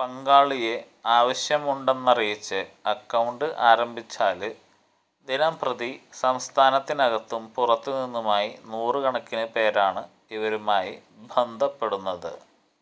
പങ്കാളിയെ ആവശ്യമുണ്ടെന്നറിയിച്ച് അക്കൌണ്ട് ആരംഭിച്ചാല് ദിനംപ്രതി സംസ്ഥാനത്തിനകത്തും പുറത്തു നിന്നുമായി നൂറ് കണക്കിന് പേരാണ് ഇവരുമായി ബന്ധപ്പെടുന്നത്